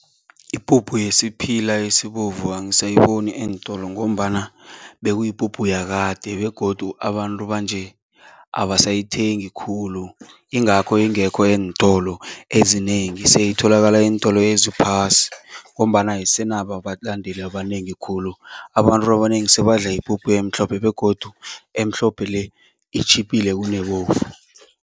Ipuphu yesiphila esibovu angisayiboni eentolo ngombana bekuyipuphu yakade begodu abantu banje abasayithengi khulu. Ingakho ingekho eentolo ezinengi seyiyatholakala eentolo eziphasi ngombana ayisanabo abalandeli abanengi khulu. Abantu abanengi sebandla ipuphu emhlophe begodu emhlophe le itjhiphile kunebovu.